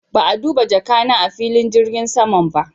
Ba'a duba jaka na a'filin jirgin saman ba.